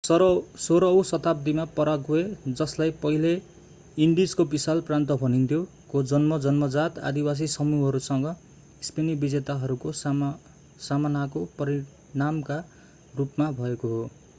16 औँ शताब्दीमा पाराग्वे जसलाई पहिले इन्डिजको विशाल प्रान्त भनिन्थ्यो”,को जन्म जन्मजात आदिवासी समूहहरूसँग स्पेनी विजेताहरूको सामनाको परिणामका रूपमा भएको हो।